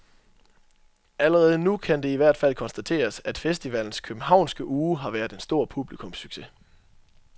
Allerede nu kan det i hvert fald konstateres, at festivalens københavnske uge har været en stor publikumssucces.